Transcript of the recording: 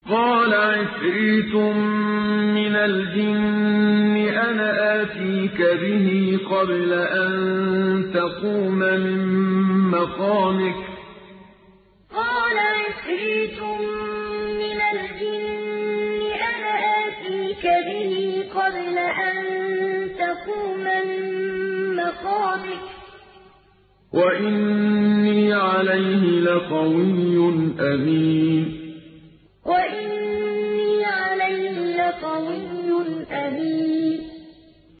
قَالَ عِفْرِيتٌ مِّنَ الْجِنِّ أَنَا آتِيكَ بِهِ قَبْلَ أَن تَقُومَ مِن مَّقَامِكَ ۖ وَإِنِّي عَلَيْهِ لَقَوِيٌّ أَمِينٌ قَالَ عِفْرِيتٌ مِّنَ الْجِنِّ أَنَا آتِيكَ بِهِ قَبْلَ أَن تَقُومَ مِن مَّقَامِكَ ۖ وَإِنِّي عَلَيْهِ لَقَوِيٌّ أَمِينٌ